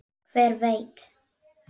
Hver veit